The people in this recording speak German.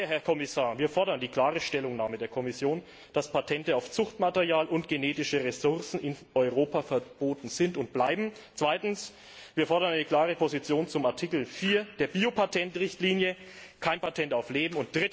Und daher, Herr Kommissar, fordern wir die klare Stellungnahme der Kommission, dass Patente auf Zuchtmaterial und genetische Ressourcen in Europa verboten sind und bleiben. Zweitens Wir fordern eine klare Position zu Artikel 4 der Biopatentrichtlinie kein Patent auf Leben.